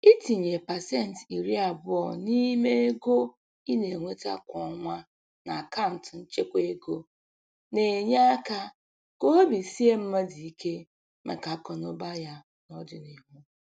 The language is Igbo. Itinye pasentị iri abụọ n'ime ego ị na-enweta kwa ọnwa n'akant nchekwa ego na-enye áká ka obi sie mmadụ ike màkà akụ na ụba ya n'ọdịnihu.